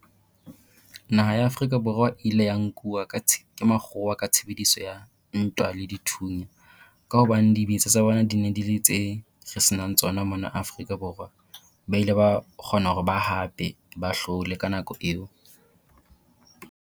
Naha ya Afrika Borwa e ile ya nkuwa ke makgowa ka tshebediso ya ntwa le dithunya, ka hobane dibetsa tsa bona di ne di le re senang tsona mona Afrika Borwa. Ba ile ba kgona hore ba hape ba hlole ka nako eo.